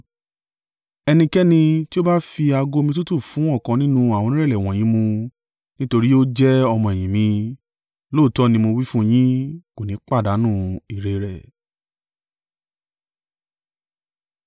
Ẹnikẹ́ni tí ó bá fi ago omi tútù fún ọ̀kan nínú àwọn onírẹ̀lẹ̀ wọ̀nyí mu nítorí tí ó jẹ́ ọmọ-ẹ̀yìn mi, lóòótọ́ ni mo wí fún yín, kò ní pàdánù èrè rẹ̀.”